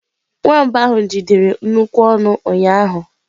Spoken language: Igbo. Nwamba ahụ jidere nnukwu ọnụ ụnyaahụ.